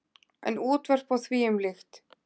En útvörp og þvíumlíkt.